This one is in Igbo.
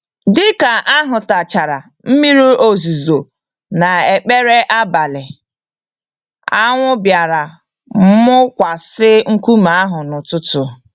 Dịka ahụtachara mmiri ozuzo na ekpere nabalị, anwụ bịara mụkwasị nkume ahụ n'ụtụtụ